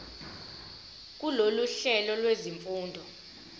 kulolu hlelo lwezifundo